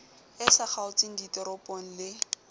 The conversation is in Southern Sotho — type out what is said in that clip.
e sa kgaotseng ditoropong le